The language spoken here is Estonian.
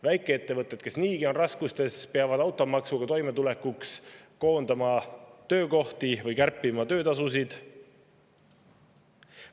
Väikeettevõtted, kes on niigi raskustes, peavad automaksuga toimetulekuks koondama töökohti või kärpima töötasusid.